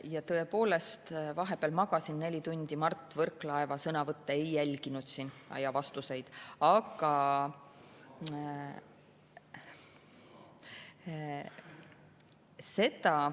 Jaa, tõepoolest, vahepeal magasin neli tundi, Mart Võrklaeva sõnavõtte ja vastuseid ma ei jälginud.